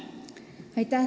Aitäh!